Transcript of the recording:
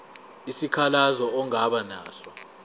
isikhalazo ongaba naso